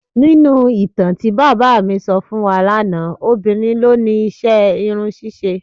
Nínú ìtàn tí bàbá mi sọ fún wa lánàá, obìnrin ló ni iṣẹ́ irun ṣíṣe.